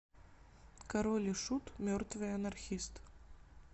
король и шут мертвый анархист